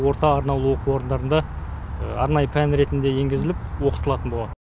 орта арнаулы оқу орындарында арнайы пән ретінде енгізіліп оқытылатын болады